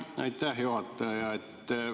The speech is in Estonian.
Aitäh, juhataja!